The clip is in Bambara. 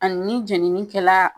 Ani ni jenini kɛla